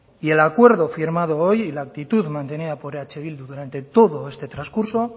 y el acuerdo firmado hoy y la actitud mantenida por eh bildu durante todo este trascurso